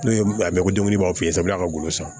N'o ye a bɛ komi b'a f'i ye a bɛ ka golo san